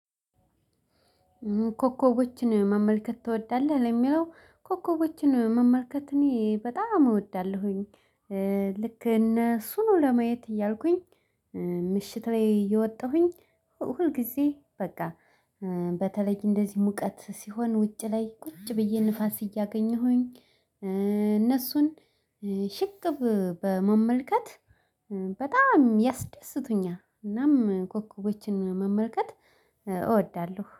ኮከቦችን መመልከት ትወዳለህ? ለሚለው ኮከቦችን መመልከት እኔ በጣም እወዳለሁኝ። ልክ እነሱኑ ለማየት እያልኩኝ ምሽት ላይ እየወጣሁኝ። ሁልጊዜ በቃ በተለይ እንደዚህ ሙቀት ሲሆን ውጪ ላይ ቁጭ ብዬ ንፋስ እያገኘሁኝ። እነሱን ሽቅብ በመመልከት በጣም ያስደስቱኛል። እናም ኮከቦችን መመልከት እወዳለሁ